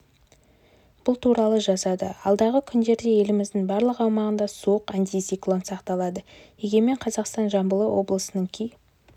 бұл туралы жазады алдағы күндерде еліміздің барлық аумағында суық антициклон сақталады егемен қазақстан жамбыл облысының кей